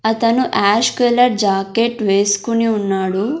అతను ash colour jacket వేస్కుని ఉన్నాడు.